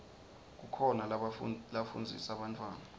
kukhona lafundzisa bantfwana